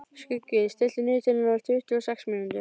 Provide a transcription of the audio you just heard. Skuggi, stilltu niðurteljara á tuttugu og sex mínútur.